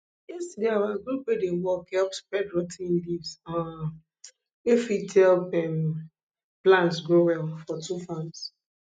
yesterday our group wey dey work help spread rot ten leaves um wey fit help um plants grow well for two farms